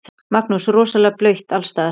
Magnús: Rosalega blautt alls staðar?